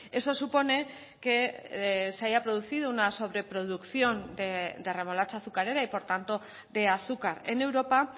eso supone que se haya producido una sobreproducción de remolacha azucarera y por tanto de azúcar en europa